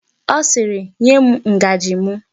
Ọ sịịrị, nye m ngaji m!